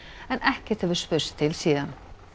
en ekkert hefur spurst til síðan